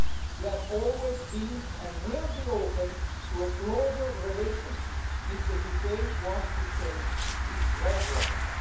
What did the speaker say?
We have always been and will be open to a closer relationship if the UK wants to change its red lines.